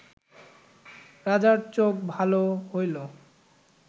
রাজার চোখ ভাল হইল